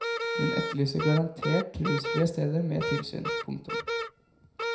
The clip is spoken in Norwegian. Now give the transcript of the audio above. Hun etterlyser garantert rusfrie steder med tilsyn. punktum